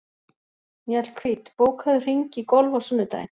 Mjallhvít, bókaðu hring í golf á sunnudaginn.